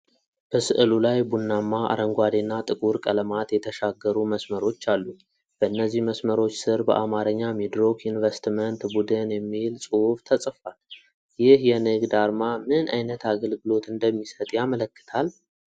በሥዕሉ ላይ ቡናማ፣ አረንጓዴ እና ጥቁር ቀለማት የተሻገሩ መስመሮች አሉ። በእነዚህ መስመሮች ስር በአማርኛ "ሚድሮክ ኢንቨስትመንት ቡድን" የሚል ጽሑፍ ተጽፏል። ይህ የንግድ አርማ ምን ዓይነት አገልግሎት እንደሚሰጥ ያመለክታል?